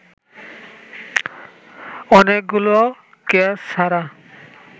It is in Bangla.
অনেকগুলো ক্যাচ ছাড়া